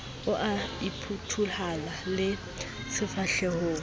o a phuthuloha le sefahlehong